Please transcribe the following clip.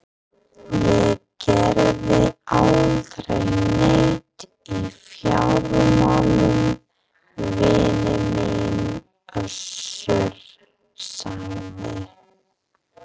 Ég geri aldrei neitt í fjármálum vinur minn Össur, sagði